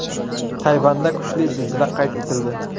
Tayvanda kuchli zilzila qayd etildi.